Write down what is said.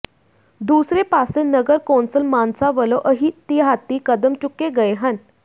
ਦੂਸਰੇ ਪਾਸੇ ਨਗਰ ਕੌਂਸਲ ਮਾਨਸਾ ਵੱਲੋਂ ਅਹਿਤਿਆਤੀ ਕਦਮ ਚੁੱਕੇ ਗਏ ਹਨ